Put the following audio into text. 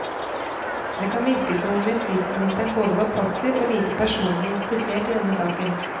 Det kan virke som om justisministeren både var passiv og lite personlig interessert i denne saken.